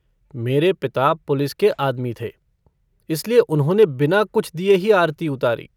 मेरे पिता पुलिस के आदमी थे, इसलिए उन्होंने बिना कुछ दिए ही आरती उतारी।